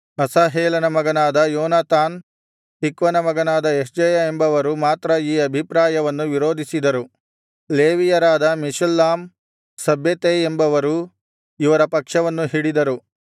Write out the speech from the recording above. ಅಸಾಹೇಲನ ಮಗನಾದ ಯೋನಾತಾನ್ ತಿಕ್ವನ ಮಗನಾದ ಯಹ್ಜೆಯ ಎಂಬವರು ಮಾತ್ರ ಈ ಅಭಿಪ್ರಾಯವನ್ನು ವಿರೋಧಿಸಿದರು ಲೇವಿಯರಾದ ಮೆಷುಲ್ಲಾಮ್ ಶಬ್ಬೆತೈ ಎಂಬವರೂ ಇವರ ಪಕ್ಷವನ್ನು ಹಿಡಿದರು